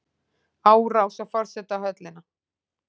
Árás á forsetahöllina